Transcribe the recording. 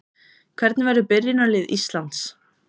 Hvernig verður byrjunarlið Íslands?